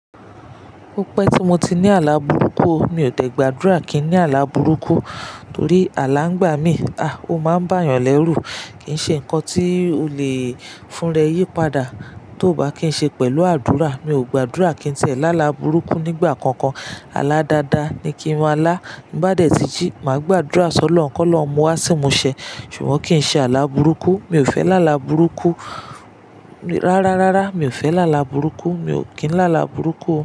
Ó pẹ́ tí mo ti ní àlá burúkú. Mi ò tẹ̀gbàdúrà kí n ní àlá burúkú torí alá ngbà mí, a! Ó máa ń bá èèyàn lẹ́rù. Kì í ṣe nǹkan tí o lè fúnrẹ́ yí padà tó bá kín ṣe pẹ̀lú àdúrà. Mi ò gbàdúrà kí n tiẹ́ lá alá a burúkú nígbà kankan. Aládada ni kí n mọ lá. Tin bá dẹ̀ tíjí, màá gbàdúrà sí Olohun kọ́lọhun mú wá ṣi imusẹ ṣùgbọ́n kí ì ṣe àlá burúkú. Mi ò fẹ́ lá là burúkú. Rárá, rárá, mi ò fẹ́ lá alà burúkú. Mi ò kín lá alà burúkú o.